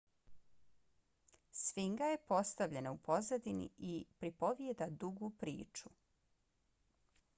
sfinga je postavljena u pozadini i pripovjeda dugu priču